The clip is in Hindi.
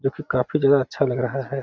जोकि काफी जगह अच्छा लग रहा है।